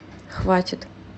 хватит